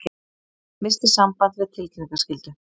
Missti samband við tilkynningaskyldu